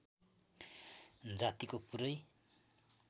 जातिको पुरै